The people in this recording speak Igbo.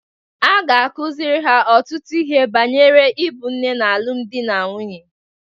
A ga-akụziri ha ọtụtụ ihe banyere ịbụ nne na alụmdi na nwunye.